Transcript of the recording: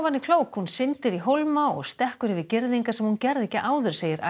er klók hún syndir í hólma og stekkur yfir girðingar sem hún gerði ekki áður segir